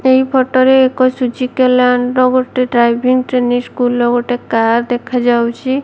ଏହି ଫଟୋ ରେ ଏକ ସୁଜିକା ଲାଣ୍ଡ ର ଗୋଟେ ଡ୍ରାଇଭିଂ ଟ୍ରେନିଂ ସ୍କୁଲ୍ ର ଗୋଟେ କାର୍ ଦେଖାଯାଉଚି।